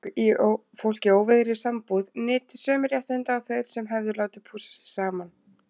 Fólk í óvígðri sambúð nyti sömu réttinda og þeir sem hefðu látið pússa sig saman.